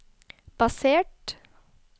basert